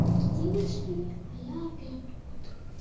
ой девочки а я опять тут